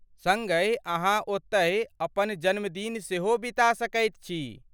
सड़्गहि अहाँ ओतहि अपन जन्मदिन सेहो बिता सकैत छी।